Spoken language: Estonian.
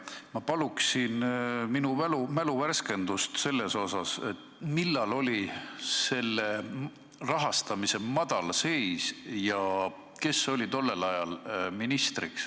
Ma paluksin mäluvärskendust selles osas, millal oli rahastamise madalseis ja kes oli tol ajal ministriks.